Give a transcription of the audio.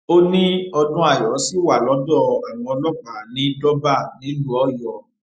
ó ní odnayo ṣì wà lọdọ àwọn ọlọpàá ní durbar nílùú ọyọ